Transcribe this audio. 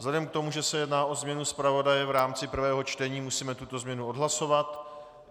Vzhledem k tomu, že se jedná o změnu zpravodaje v rámci prvého čtení, musíme tuto změnu odhlasovat.